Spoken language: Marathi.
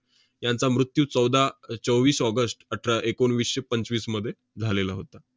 यांचा मृत्यू चौदा~ चोवीस ऑगस्ट अठरा~ एकोणवीसशे पंचवीसमध्ये झालेला होता.